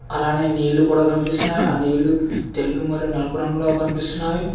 అలానే నీళ్లు కుడా కనిపిస్తున్నాయి ఆ నీళ్లు తెలుపు మరియు నలుపు రంగులో కనిపిస్తున్నాయ్.